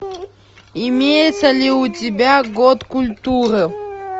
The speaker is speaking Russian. имеется ли у тебя год культуры